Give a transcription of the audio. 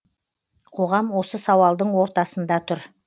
қоғам осы сауалдың ортасын да тұр